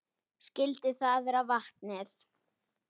Skyldi það vera vatnið?